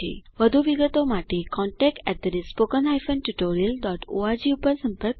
વધુ વિગતો માટે contactspoken tutorialorg પર સંપર્ક કરો